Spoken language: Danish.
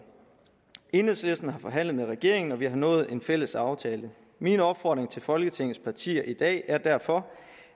enhedslisten har forhandlet med regeringen og vi har nået en fælles aftale min opfordring til folketingets partier i dag er derfor